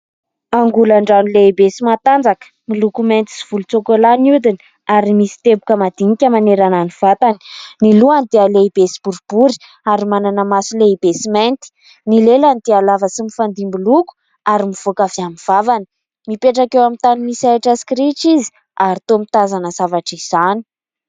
Angolandrano lehibe sy mahatanjaka miloko mainty sy volotsokolà ny hodina ary misy teboka madinika manerana ny vatany, ny lohany dia lehibe sy boribory ary manana maso lehibe sy mainty, ny lelany dia lava sy mifandimby loko ary mivoaka avy amin'ny vavany, mipetraka eo amin'ny tany misy ahitra sy kirihitra izy ary toa mitazana zavatra izany.